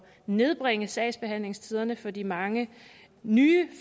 nedbringe sagsbehandlingstiderne for de mange nye